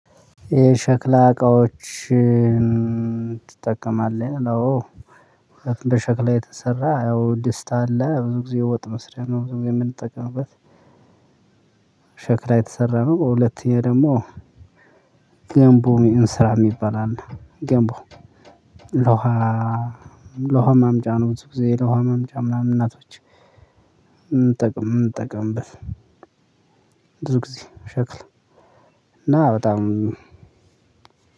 የሸክላ እቃዎችን ትጠቀማለህ ነው? አዎ። በሸክላ የተሰራ ያው ድስት አለ ብዙ ጊዜ ወጥ መስሪያ ነው ብዙ ጊዜ የምንጠቀምበት። ሸክላ የተሰራ ነው። ሁለተኛ ደግሞ ገምቦ እንስራ የሚባል አለ። ገምቦ። ለውሃ ለውሃ ማምጫ ነው። ብዙ ጊዜ ለውሃ ማምጫ ምናምን እናቶች። ምንጠቀም ምንጠቀምበት። ብዙ ጊዜ ሸክላ። እና በጣም